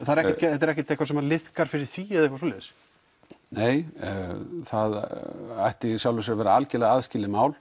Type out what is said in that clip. þetta er ekki eitthvað sem liðkar fyrir því nei það ætti í sjálfu sér að vera alveg aðskilið mál